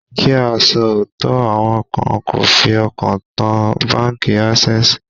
Kí á sọ òótọ́, àwọn kan kò fi ọkàn tán báńkì Ásẹ́sìì.